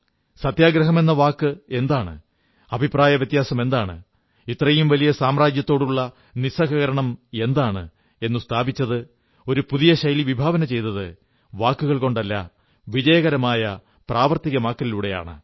സത്യഗ്രഹമെന്ന വാക്കെന്താണ് അഭിപ്രായവ്യത്യാസം എന്താണ് ഇത്രയും വലിയ സാമ്രാജ്യത്തോടുള്ള നിസ്സഹകരണം എന്താണ് എന്നു സ്ഥാപിച്ചത് ഒരു പുതിയ ശൈലി വിഭാവനം ചെയ്തത് വാക്കുകൾ കൊണ്ടല്ല വിജയകരമായ പ്രാവർത്തികമാക്കലിലൂടെയാണ്